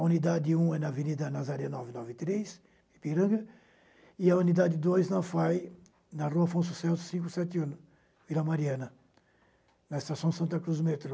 A unidade um é na Avenida Nazaré nove nove três, Ipiranga, e a unidade dois, na FAI, na Rua Afonso Celso cinco sete um, Vila Mariana, na Estação Santa Cruz, o metrô.